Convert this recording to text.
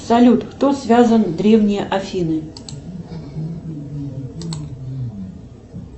салют кто связан древние афины